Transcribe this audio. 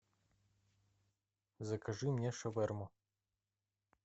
закажи мне шаверму